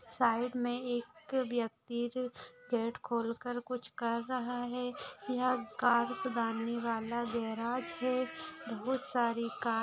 side में एक व्यक्ति है जो गेट खोलकर कुछ कर रहा है यह कार सुधारने वाला गॅरेज है बहुत सारी कार --